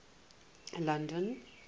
london